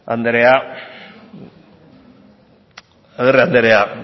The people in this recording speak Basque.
andrea agirre andrea